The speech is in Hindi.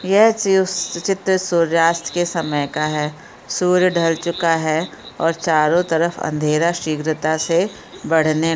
यह चित्र सूर्यास्त के समय का है सूर्य ढल चूका है और चारो तरफ अँधेरा शीघ्रता से बढ़ने--